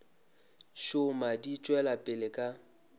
šoma di tšwela pele ka